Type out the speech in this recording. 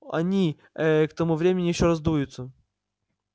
они э-э к тому времени ещё раздуются